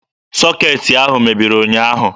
Sọkeetị ahụ mebiri ụnyaahụ.